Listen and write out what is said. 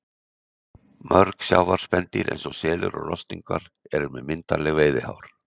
Mörg sjávarspendýr eins og selir og rostungar eru með myndarleg veiðihár.